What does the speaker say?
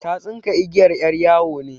Ta tsinka igiyar 'yar yawo ne.